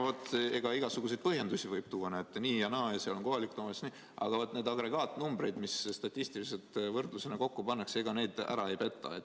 Võib tuua igasuguseid põhjendusi, et näete, nii ja naa ja see on kohaliku omavalitsuse ülesanne, aga neid agregaatnumbreid, mis statistiliselt võrdlusena kokku pannakse, ära ei peta.